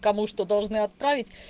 кому что должны отправь